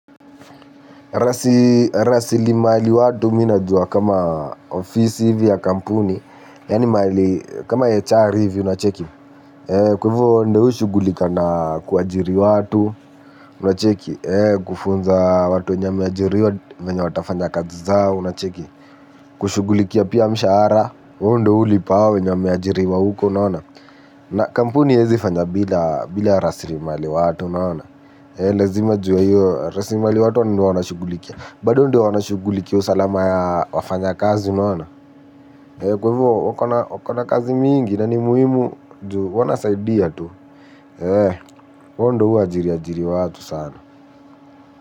Risimaliwatu ni najua kama ofisi hivi ya kampuni. Yani mali kama HR hivi unacheki kwaivo ndo ushugulika na kuajiri watu unacheki. Kufunza watu wenye wameajiriwa venye watafanya kazi zao unacheki. Kushugulikia pia mshara. Undewu lipawe njame ajiriwa huko unawana na kampuni hezi fanya bila rasili mali watu unaona. Lazima ju ya hiyo rasili mali watu unawana shugulikia. Bado ndio wana shuguli usalama ya wafanya kazi unaona. Kwaivo wakona kazi mingi na ni muhimu. Wana saidia tu. Wao hu ajiri ajiri wa watu sana.